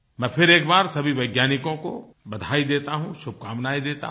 मैं फिर एक बार सभी वैज्ञानिकों को बधाई देता हूँ शुभकामनायें देता हूँ